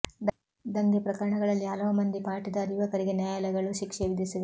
ದಂಗೆ ಪ್ರಕರಣಗಳಲ್ಲಿ ಹಲವು ಮಂದಿ ಪಾಟಿದಾರ್ ಯುವಕರಿಗೆ ನ್ಯಾಯಾಲಯಗಳು ಶಿಕ್ಷೆ ವಿಧಿಸಿವೆ